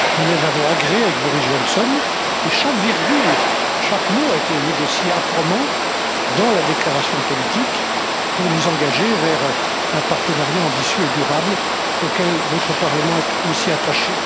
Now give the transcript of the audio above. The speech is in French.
Nous les avons agréées avec Boris Johnson et chaque virgule, chaque mot a été négocié âprement dans la déclaration politique pour nous engager vers un partenariat ambitieux et durable auquel votre Parlement est aussi attaché.